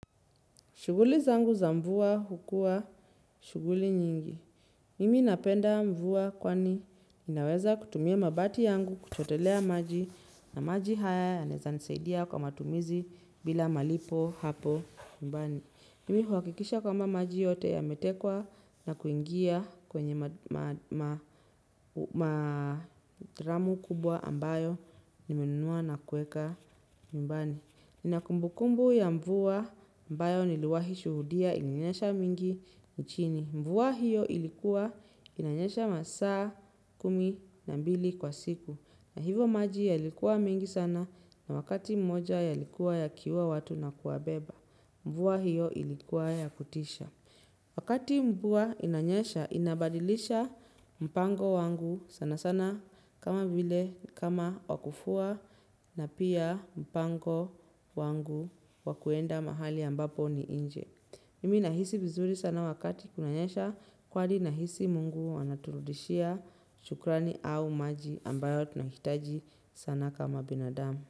Shughuli zangu za mvua hukuwa shughuli nyingi. Mimi napenda mvua kwani ninaweza kutumia mabati yangu kuchotelea maji na maji haya yanaeza nisaidia kwa matumizi bila malipo hapo nyumbani. Mimi huhakikisha kwamba maji yote yametekwa na kuingia kwenye madramu kubwa ambayo nimenunua na kuweka nyumbani. Ninakumbu kumbu ya mvua ambayo niliwahi shuhudia inanyesha mingi nchini. Mvua hiyo ilikuwa inanyesha masaa kumi na mbili kwa siku. Na hivyo maji yalikuwa mengi sana na wakati mmoja yalikuwa yakiua watu na kuwabeba. Mvua hiyo ilikuwa ya kutisha. Wakati mvua inanyesha inabadilisha mpango wangu sana sana. Kama vile kama wakufua na pia mpango wangu wa kuenda mahali ambapo ni nje. Mimi nahisi vizuri sana wakati kunanyesha kwani nahisi mungu anaturudishia shukrani au maji ambayo tunahitaji sana kama binadamu.